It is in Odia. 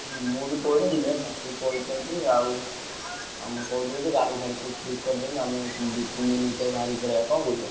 ହୁଁ ମୁଁ ବି କହିଦେବି ହେଲା ସେ କହିଛନ୍ତି ଆଉ ଆଉ ମୁଁ କହିଦେଇଛି ଗାଡି ଫାଡି ସବୁ ଠିକ୍ କରିଦେବେ ଆମେ ଦି ତିନଦିନ ଭିତରେ ବାହାରିକି ପଳେଇଆ କଣ କହୁଛ?